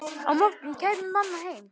Á morgun kæmi mamma heim.